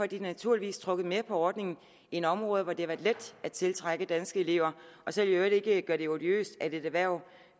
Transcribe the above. de naturligvis trukket mere på ordningen end områder hvor det har været let at tiltrække danske elever så vil jeg i øvrigt ikke gøre det odiøst at et erhverv